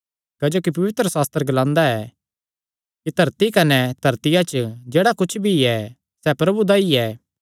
क्जोकि पवित्रशास्त्र ग्लांदा ऐ कि धरती कने धरतिया च जेह्ड़ा कुच्छ भी ऐ सैह़ प्रभु दा ई ऐ